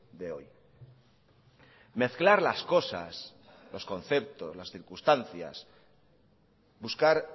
de hoy mezclar las cosas los conceptos las circunstancias buscar